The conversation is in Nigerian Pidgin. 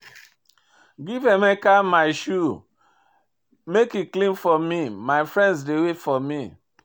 Give Emeka my shoe make he clean for me, my friends dey wait for me